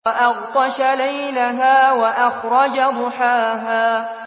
وَأَغْطَشَ لَيْلَهَا وَأَخْرَجَ ضُحَاهَا